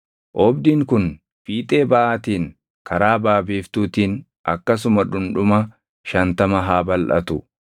Oobdiin kun fiixee baʼaatiin karaa baʼa biiftuutiin akkasuma dhundhuma shantama haa balʼatu.